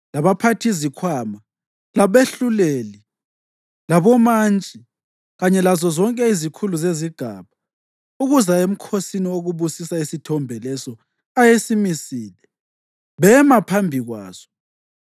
labaphathizikhwama, labehluleli, labomantshi kanye lazozonke izikhulu zezigaba ukuza emkhosini wokubusisa isithombe leso ayesimisile, bema phambi kwaso.